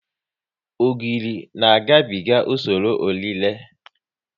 Ogiri na ga biga usoro ọ rire